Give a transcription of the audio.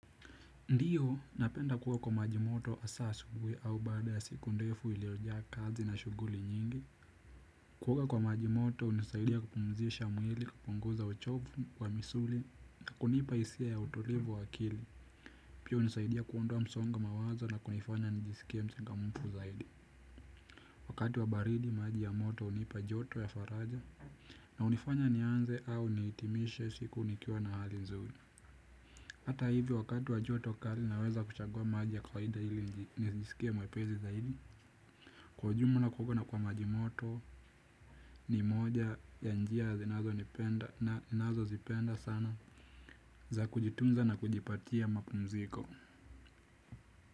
Ndiyo, napenda kuoga kwa maji moto hasa asubuhi au baada ya siku ndefu iliyojaa kazi na shughuli nyingi. Kuoga kwa maji moto kunanisaidia kupumzisha mwili, kupunguza uchovu wa misuli, na kunipa hisia ya utulivu wa akili. Pia hunisaidia kuondoa msongo wa mawazo na kunifanya njisikie mchangamfu zaidi. Wakati wa baridi maji ya moto hunipa joto ya faraja. Na hunifanya nianze au nihitimishe siku nikiwa na hali nzuri. Hata hivyo, wakati wa jua kutoka, naweza kuchagua maji baridi, hili nijisikie mwepesi zaidi. Kwa ujumla kuoga kwa majimoto ni moja ya njia ninazozipenda sana, za kujitunza na kujipatia mapumziko.